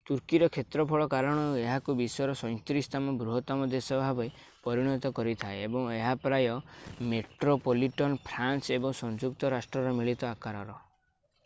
ତୁର୍କୀର କ୍ଷେତ୍ରଫଳ କାରଣରୁ ଏହାକୁ ବିଶ୍ଵର 37ତମ ବୃହତ୍ତମ ଦେଶ ଭାବରେ ପରିଣତ କରିଥାଏ ଏବଂ ଏହା ପ୍ରାୟ ମେଟ୍ରୋପଲିଟନ୍ ଫ୍ରାନ୍ସ ଏବଂ ସଂଯୁକ୍ତ ରାଷ୍ଟ୍ରର ମିଳିତ ଆକାରର